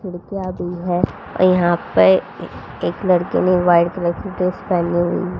खिड़कियां भी है यहां पर एक लड़के ने व्हाइट कलर की ड्रेस पहनी हुई--